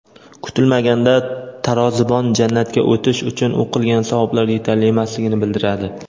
Kutilmaganda tarozibon jannatga o‘tish uchun u qilgan savoblar yetarli emasligini bildiradi.